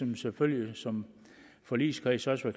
vi selvfølgelig som forligskreds også